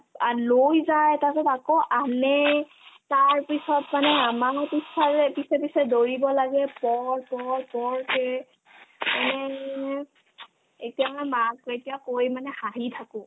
আ লৈ যায় তাৰপিছত আকৌ আনে তাৰপিছত মানে আমাৰ পিছফালে পিছে পিছে দৌৰিব লাগে তই তই কে এনে এনে এতিয়া মই মাক এতিয়া কৈ মানে হাঁহি থাকো